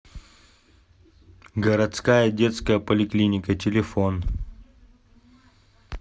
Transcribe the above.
городская детская поликлиника телефон